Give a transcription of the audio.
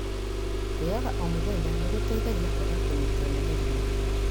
Kwĩyoga omũthenya nĩgũteithagia kwaga kũnyitwo nĩ mĩrimũ